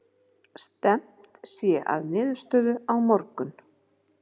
Stefnt sé að niðurstöðu á morgun